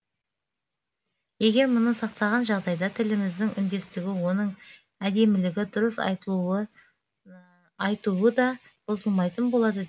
егер мұны сақтаған жағдайда тіліміздің үндестігі оның әдемілігі дұрыс айтуы да бұзылмайтын болады